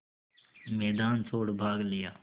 मैदान छोड़ भाग लिया